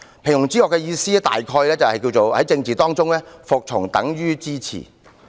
"平庸之惡"的意思泛指"在政治中，服從就等於支持"。